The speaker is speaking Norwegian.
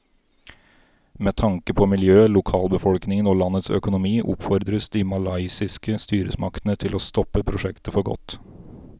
Med tanke på miljøet, lokalbefolkningen og landets økonomi oppfordres de malaysiske styresmaktene til å stoppe prosjektet for godt.